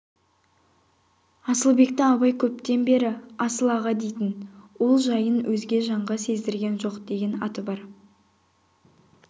асылбекті абай көптен бері асыл аға дейтін ол жайын өзге жанға сездірген жоқ деген аты бар